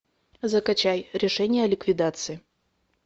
закачай решение о ликвидации